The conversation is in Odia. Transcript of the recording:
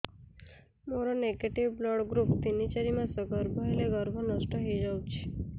ମୋର ନେଗେଟିଭ ବ୍ଲଡ଼ ଗ୍ରୁପ ତିନ ଚାରି ମାସ ଗର୍ଭ ହେଲେ ଗର୍ଭ ନଷ୍ଟ ହେଇଯାଉଛି